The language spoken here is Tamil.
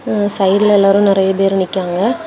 ம் ம் சைடுல எல்லாரு நெறைய பேரு நிக்காங்க.